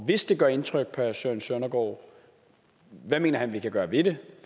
hvis det gør indtryk på herre søren søndergaard hvad mener han vi kan gøre ved det